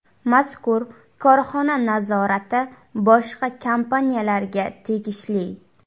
Mazkur korxona nazorati boshqa kompaniyalarga tegishli.